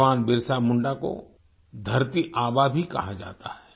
भगवान बिरसा मुंडा को धरती आबा भी कहा जाता है